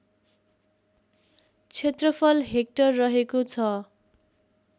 क्षेत्रफल हेक्टर रहेको छ